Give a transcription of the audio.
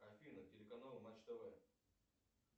афина телеканал матч тв